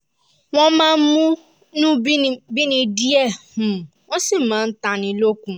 wọ́n máa ń múnú bíni díẹ̀ um wọ́n sì máa ń tánni lókun